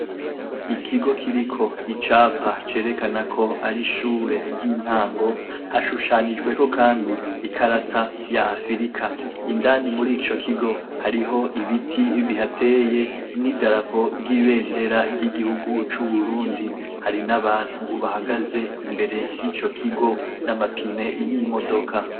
Ikigo kiriko icapa cerekana ko ari ishure ry'i ntango hashushanijweho kandi ikarata ya afirika, indani murico kigo hariho ibiti bihateye n'idarapo ry'ibendera ry'igihugu c'Uburundi hari n' abantu bahagaze imbere yico kigo n'amapine y'imodoka.